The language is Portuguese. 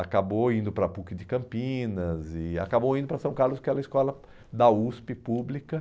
Acabou indo para PUC de Campinas e acabou indo para São Carlos, que é a escola da USP pública.